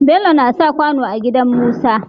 Bello nasa kwano a gidan musa